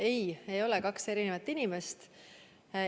Ei, ei ole kaks erinevat inimest.